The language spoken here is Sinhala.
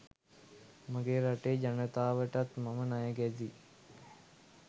මගේ රටේ ජනතාවටත් මම ණය ගැතියි.